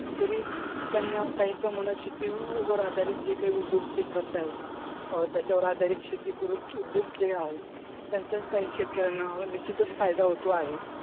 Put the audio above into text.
तरी त्यांना काही का शेतीवर आधारित जे काही उद्योग जे करताहेत अं त्याच्यावर आधारित शेतीपूरक उद्योग जे आहेत त्यांचाच काही शेतकऱ्यांना निश्चितच फायदा होतो आहे.